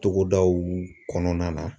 Togodaw kɔnɔna na.